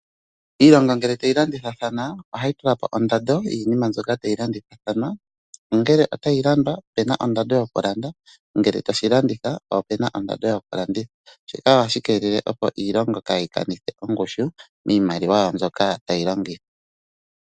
Iilongo ngele tayi landithathana ohayi tulapo ondando yinima mbyoka tayi landithathana ongele otayi landwa opena ondando yawo ngele tashi landithwa opena ondando yokulanditha shika ohashi kelele opo iilongo kayi kanithe ongushu miimaliwa yawo mbyoka tayi longithwa.